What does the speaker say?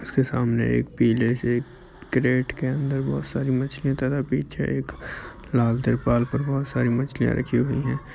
उसके सामने एक पीले से कैरेट के अंदर बहुत सारी मछलियाँ है | एक लाल तिरपाल पर बहुत सारी मछलियाँ रखी हुईं है |